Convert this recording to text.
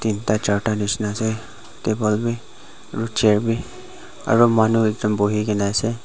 teenta charta nishina ase table bi aro chair bi aro manu ekta buhikaena ase.